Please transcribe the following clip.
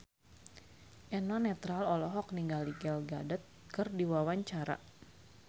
Eno Netral olohok ningali Gal Gadot keur diwawancara